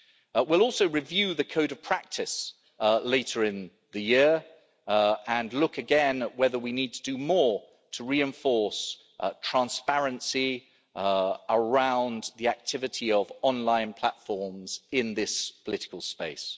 We will also review the Code of practice later in the year and look again at whether we need to do more to reinforce transparency around the activity of online platforms in this political space.